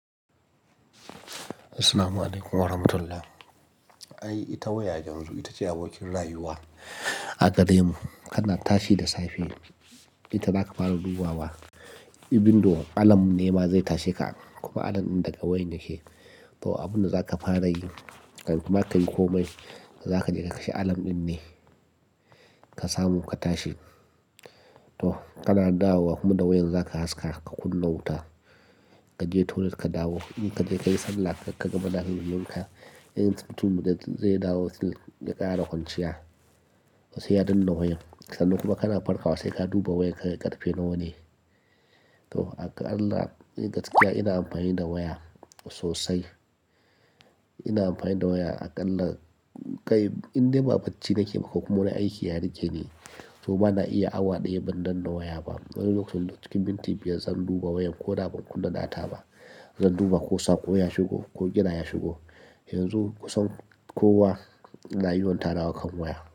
Assalamualaikum warahmatullahi. Ai, ita waya yanzu ita ce abokin rayuwa a gare mu. Kana tashi da safe, ita zaka fara dubawa. Abin da alamn nema zai tashe ka, kuma alam din daga wayan yake. To, abun da za ka fara yi, kan ma ka yi komai, za ka je ka kashe alam din ne ka samu ka tashi. To, kana dawowa kuma da wayan za ka haska ka kunna wuta. Ka je toilet ka dawo, in ka je ka yi sallah, ka gama da halin wanka, in tuntuɓe zai dawo sil, ya ƙara hunciya, sai ya danna wayan. Sannan kuma kana farkawa, sai ka duba wayan ka karfe nawa ne. To, Akalla, gaskiya ina amfani da waya sosai. Ina amfani da waya, Akallah, kai indema bacci nake ko kuma, wana aiki yare kine ne, to bana iya awa ɗaya ban danna waya ba. Wane lokacin cikin minti biyar zan duba wayan ko na bar kunna data ba. Zan duba ko sako ya shigo ko Gira ya shigo. Yanzu kusan kuwa ya ina yiwanta nawa kan waya.